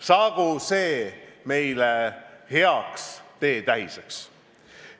Saagu see meile heaks teetähiseks.